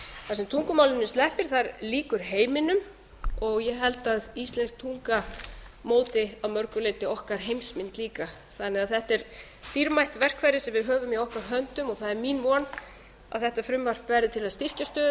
sem tungumálinu sleppir lýkur heiminum og ég held að íslensk tunga móti að mörgu leyti okkar heimsmynd líka þannig að þetta er dýrmætt verkfæri sem við höfum í okkar höndum og það er mín von að þetta frumvarp verði til þess að styrkja stöðu